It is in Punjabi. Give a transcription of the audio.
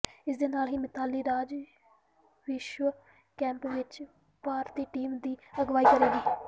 ਇਸ ਦੇ ਨਾਲ ਹੀ ਮਿਤਾਲੀ ਰਾਜ ਵਿਸ਼ਵ ਕੱਪ ਵਿੱਚ ਭਾਰਤੀ ਟੀਮ ਦੀ ਅਗਵਾਈ ਕਰੇਗੀ